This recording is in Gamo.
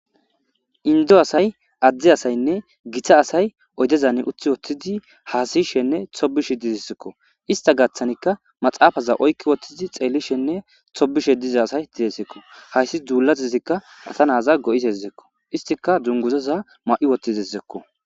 Indo asay Ade asayne gita asay oydezan utiwotidi has'ishene tobishe dizeziko ista gatanika maxafaza oykidi woti xelishene tobishe diza asay desiko dulatazika asa naza go'izazako istika dunguzaza ma'izeziko